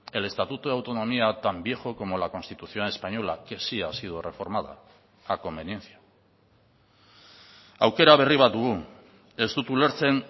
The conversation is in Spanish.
el estatuto de autonomía tan viejo como la constitución española que sí ha sido reformada a conveniencia aukera berri bat dugu ez dut ulertzen